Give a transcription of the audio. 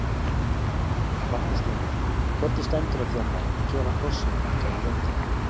Magnús Hlynur: Hvernig stendur á því að menn gefa hrossunum ekki að éta?